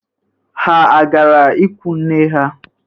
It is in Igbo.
Ha agara ikwunne ha?